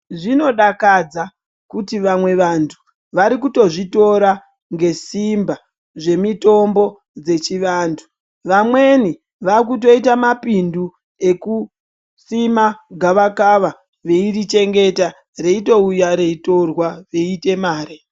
Zvinodakadza kuti vamwe vantu vari kutozvitora ngesimba zvemitombo yechivantu vamweni vakutoita mapindu ekusima gava kava veirichengeta veitouya reitorwa veita mare.